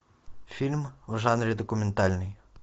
фильм в жанре документальный